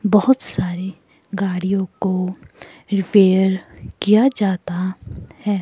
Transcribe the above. बहुत सारी गाड़ियों को रिपेयर किया जाता है।